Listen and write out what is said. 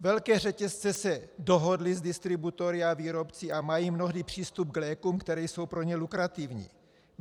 Velké řetězce se dohodly s distributory a výrobci a mají mnohdy přístup k lékům, které jsou pro ně lukrativní.